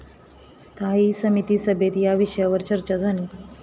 स्थायी समिती सभेत या विषयावर चर्चा झाली.